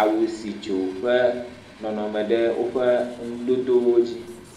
awu si dzo ƒe nɔnɔme ɖe woƒe ŋudodowo dzi.